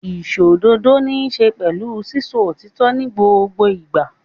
Ìṣòdodo níṣe pẹ̀lú sísọ òtítọ́ ní gbogbo ìgbà.